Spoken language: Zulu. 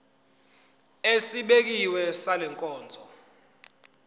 esibekiwe sale nkonzo